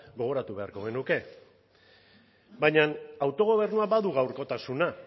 gogoratu beharko genuke baina autogobernuak badu gaurkotasuna